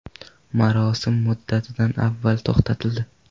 Marosim muddatidan avval to‘xtatildi.